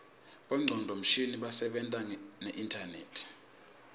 bongcondvo mshini basebentisa neinternet